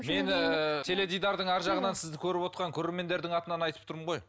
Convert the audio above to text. теледидардың ар жағынан сізді көріп отырған көрермендердің атынан айтып тұрмын ғой